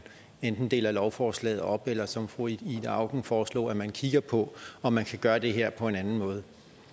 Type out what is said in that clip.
enten deler lovforslaget op eller som fru ida auken foreslog at man kigger på om man kan gøre det her på en anden måde